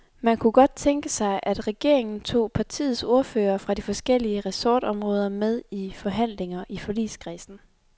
Man kunne godt tænke sig, at regeringen tog partiets ordførere fra de forskellige ressortområder med i forhandlinger i forligskredsen.